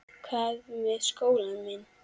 Hvað með skólann minn?